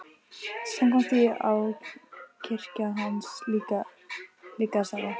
Samkvæmt því á kirkja hans líka að starfa.